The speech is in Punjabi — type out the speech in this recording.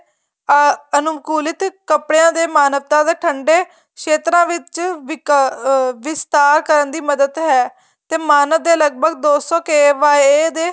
ਅਹ ਅਨੁਕੂਲਿਤ ਕੱਪੜਿਆਂ ਦੇ ਮਾਨਵਤਾਂ ਠੰਡੇ ਖੇਤਰਾਂ ਵਿੱਚ ਅਹ ਵਿਸਥਾਰ ਕਰਨ ਦੀ ਮਦਦ ਹੈ ਤੇ ਮਾਨਵ ਦੇ ਲੱਗਭਗ ਦੋ ਸੋ KYA ਦੇ